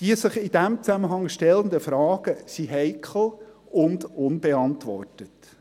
Die sich in diesem Zusammenhang stellenden Fragen sind heikel und unbeantwortet: